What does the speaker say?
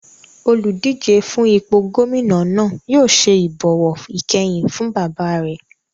Oludije fún ipò gómìnà náà yóò ṣe ìbọ̀wọ̀ ìkẹyìn fún bàbá rẹ̀